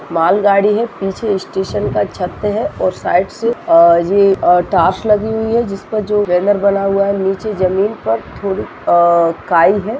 मालगाड़ी है पीछे स्टेशन का छत है और साइड सेअ ये टोर्च लगी हुई है जिस पर यह बैनर बना हुआ है नीचे जमीन पर थोड़ी काई हैं।